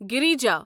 گریٖجا